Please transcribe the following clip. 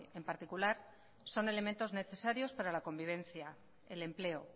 en particular son elementos necesarios para la convivencia el empleo